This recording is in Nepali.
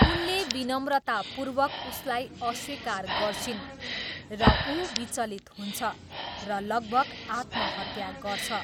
उनले विनम्रतापूर्वक उसलाई अस्विकार गर्छिन्, र ऊ विचलित हुन्छ, र लगभग आत्महत्या गर्छ।